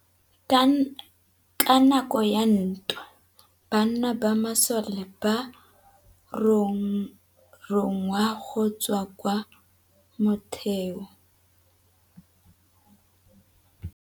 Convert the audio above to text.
Ka nakô ya dintwa banna ba masole ba rongwa go tswa kwa mothêô.